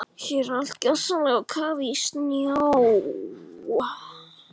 Hér er allt gjörsamlega á kafi í snjó.